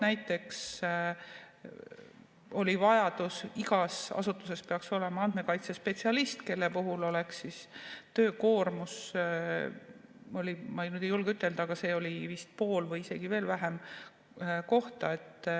Näiteks oli vajadus, et igas asutuses peaks olema andmekaitsespetsialist, kelle töökoormus, ma nüüd ei julge täpselt ütelda, oleks olnud vist pool või isegi veel vähem kohta.